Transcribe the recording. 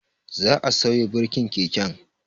Za'a sauya birkin keken